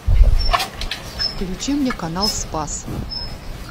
включи мне канал спас